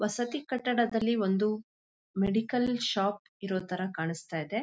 ವಸತಿ ಕಟ್ಟದಲ್ಲಿ ಒಂದು ಮೆಡಿಕಲ್ ಶಾಪ್ ಇರೋತರ ಕಾಣಸ್ತಾಯಿದೆ.